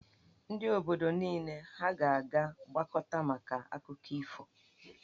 Ndị obodo niile ha a ga-agbakọta maka akụkọ ifo?